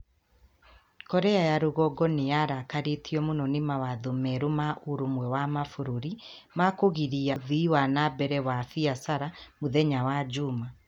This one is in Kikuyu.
Korea ya rũgongo nĩ yarakarĩtio mũno nĩ mawatho merũ ma Ũrũmwe wa Mabũrũri. Ma kũgirĩrĩria ũthiĩ wa na mbere wa biacara mũthenya wa juuma.